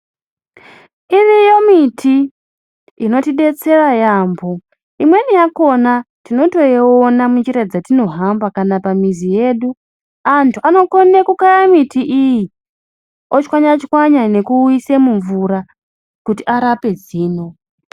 Iriyo miti inotidetsera yambo imweni yakona tinotoiona munjira dzatinohamba kana pamizi yedu, antu anokone kukaya miti iyi ochwanya chwanya nekuise mumvura kuti arape zino.